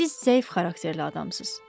Siz zəif xarakterli adamsız.